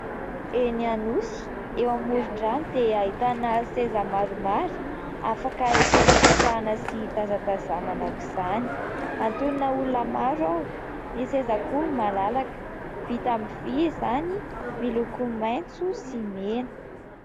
Eny Anosy eo amoron-drano dia ahitana seza maromaro afaka hipetrapetrahana sy hitazatazamana aoka izany; antonona olona maro ao; ny seza koa malalaka: vita amin'ny vy izany, miloko maitso sy mena.